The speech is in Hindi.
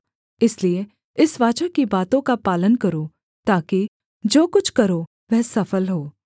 इसलिए इस वाचा की बातों का पालन करो ताकि जो कुछ करो वह सफल हो